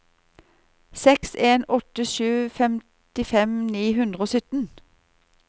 seks en åtte sju femtifem ni hundre og sytten